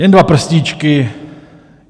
Jen dva prstíčky...